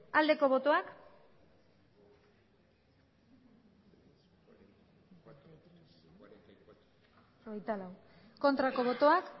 aldeko botoak aurkako botoak